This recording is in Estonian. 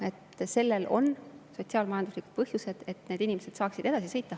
Sellel on sotsiaal-majanduslikud põhjused, need inimesed peavad saama edasi sõita.